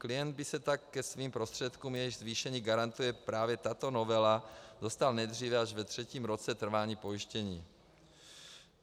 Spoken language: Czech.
Klient by se tak ke svým prostředkům, jejichž zvýšení garantuje právě tato novela, dostal nejdříve až ve třetím roce trvání pojištění.